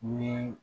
Ni